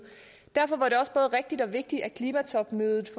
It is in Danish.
derfor var det også både rigtigt og vigtigt at klimatopmødet